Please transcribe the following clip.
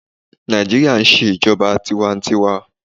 Naijiria n ṣe ijọba tiwantiwaa